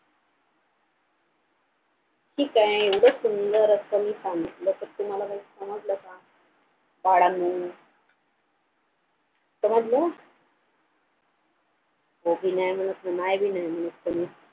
ठीक आहे एवढं सुंदर असं मी सांगितलं तर तुम्हाला काही समजलं का बाळांनो समजलं हो भी नाय म्हणत आणि नाय भी नाय म्हणत कोणी